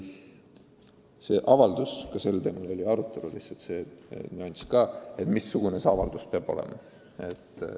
Oli arutelu ka teemal – lihtsalt see nüanss ka –, missugune see avaldus peab olema.